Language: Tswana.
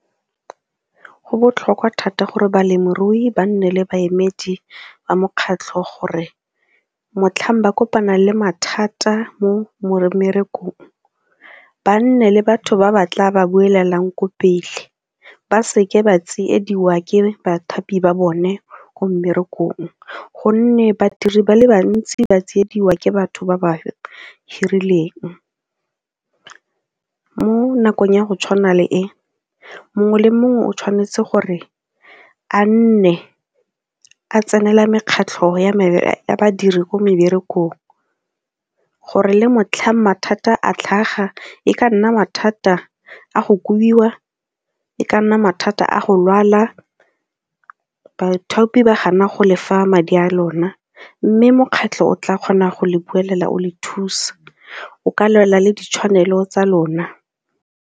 Go botlhokwa thata gore balemirui ba nne le baemedi ba mokgatlho gore motlhang ba kopana le mathata mo mmerekong ba nne le batho ba ba tla ba buelelang ko pele ba seke ba tsiediwa ke bathapi ba bone ko mmerekong gonne badiri ba le bantsi ba tsiediwa ke batho ba ba hirileng. Mo nakong ya go tshwana le e, mongwe le mongwe o tshwanetse gore a nne a tsenela mekgatlho ya badiri ko meberekong gore le motlhang mathata a tlhaga e ka nna mathata a go kobiwa, e ka nna mathata a go lwala, bathapi ba gana go le fa madi a lona mme mokgatlho o tla kgona go lebelela o le thusa, o ka lwela le ditshwanelo tsa lona.